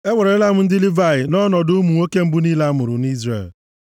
Ewerela m ndị Livayị nʼọnọdụ ụmụ nwoke mbụ niile a mụrụ nʼIzrel.